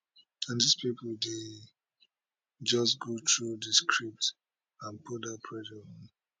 and dis pipo dey just go through di script and put dat pressure on